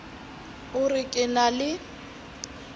o re ke na le